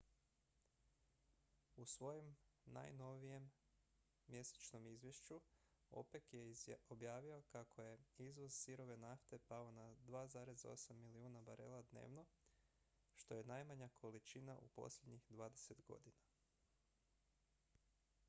u svom najnovijem mjesečnom izvješću opec je objavio kako je izvoz sirove nafte pao na 2,8 milijuna barela dnevno što je najmanja količina u posljednjih dvadeset godina